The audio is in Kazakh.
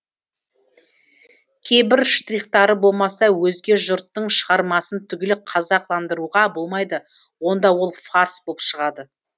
кейбір штрихтары болмаса өзге жұрттың шығармасын түгел қазақыландыруға болмайды онда ол фарс болып шығады